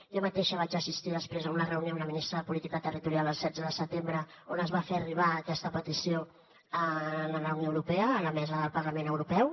jo mateixa vaig assistir després a una reunió amb la ministra de política territorial el setze de setembre on es va fer arribar aquesta petició a la unió europea a la mesa del parlament europeu